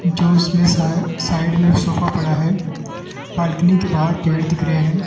जो इसमें साइ साइड में एक सोफा पड़ा है बालकनी के बाहर पेड़ दिख रहे हैं।